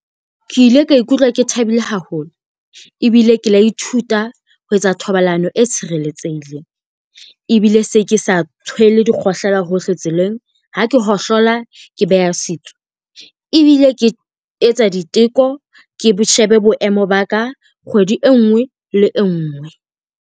Ke ile ka ikutlwa ke thabile haholo ebile ke la ithuta ho etsa thobalano e tshireletsehileng, ebile se ke sa tshwele dikgohlela hohle tseleng. Ha ke hohlola ke beha setsu, ebile ke etsa diteko ke shebe boemo ba ka kgwedi e ngwe le e ngwe.